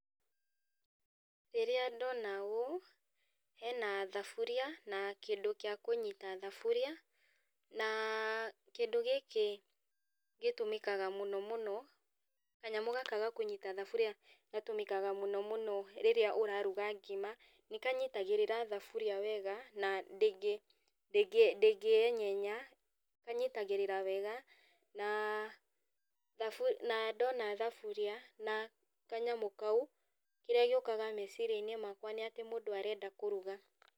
Rĩrĩa ndona ũũ, hena thaburia, na kĩndũ kĩa kũnyita thaburia, na kĩndũ gĩkĩ gĩtũmĩkaga mũno mũno, kanyamũ gaka ga kũnyita thaburia gatũmĩkaga mũno mũno rĩrĩa ũraruga ngima, nĩkanyitagĩrĩra thuburia wega, na ndĩngĩ ndĩngĩ enyenya, kanyitagĩrĩra wega, na thabu na ndona thaburia, na kanyamũ kau, kĩrĩa gĩũkaga meciriainĩ makwa nĩatĩ mũndũ arenda kũruga.